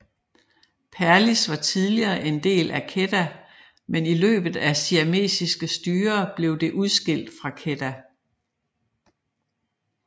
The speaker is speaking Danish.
Perlis var tidligere en del af Kedah men i løbet af siamesiske styre blev det udskilt fra Kedah